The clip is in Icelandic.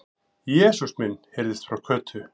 Jesús minn! heyrðist frá Kötu.